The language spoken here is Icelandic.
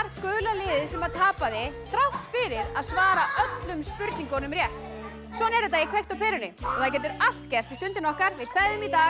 gula liðið sem að tapaði þrátt fyrir að svara öllum spurningunum rétt svona er þetta í kveikt á perunni það getur allt gerst í Stundinni okkar við kveðjum í dag